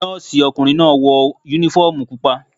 Nọ́ọ̀sì ọkùnrin náà wọ uniform pupa.